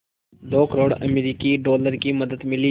दो करोड़ अमरिकी डॉलर की मदद मिली